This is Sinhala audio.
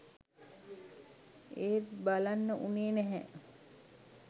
ඒත් බලන්න උනේ නැහැ